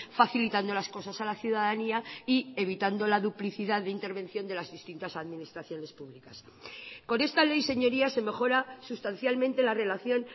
facilitando las cosas a la ciudadanía y evitando la duplicidad de intervención de las distintas administraciones públicas con esta ley señorías se mejora sustancialmente la relación